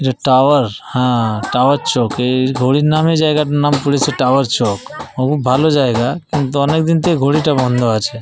যে টাওয়ার হা টাওয়ার চৌক। এই ঘড়ির নামেই জায়গাটার নাম পড়েছে টাওয়ার চৌক। খুব ভালো জায়গা কিন্তু অনেক দিন থেকেই ঘড়ি টা বন্ধ আছে।